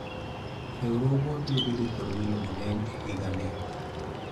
riwruogwa biro bedo kod welo mang'eny e higa ni